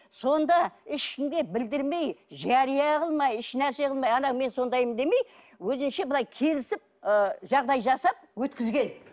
сонда ішінде білдірмей жария қылмай ешнәрсе қылмай ана мен сондаймын демей өзінше былай келісіп ы жағдай жасап өткізген